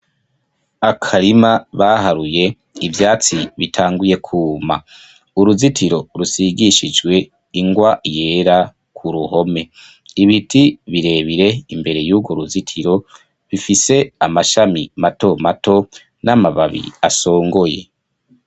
Akarima baharuye ivyatsi bitanguye kuma, uruzitiro rusigishijwe ingwa yera ku ruhome, ibiti birebire imbere yurwo ruzitiro bifise amashami mato mato n'amababi asongoye.